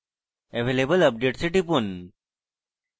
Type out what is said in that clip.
available updates এ টিপুন